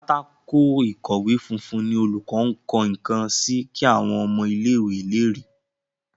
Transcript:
Pátákó ìkọ̀wé funfun ní olùkó nkó nkán sí kí àwọn ọmọ ilé ìwé lẹ rí.